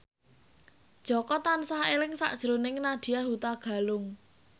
Jaka tansah eling sakjroning Nadya Hutagalung